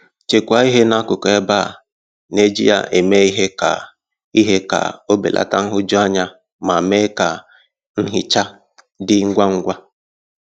Chekwaa ihe n'akụkụ ebe a na - eji ya eme ihe ka ihe ka o belata nhụjuanya ma mee ka nhicha dị ngwa ngwa.